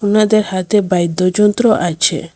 ওনাদের হাতে বাইদ্য যন্ত্র আছে।